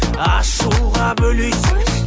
ашуға бөлейсің